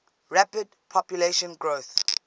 rapid population growth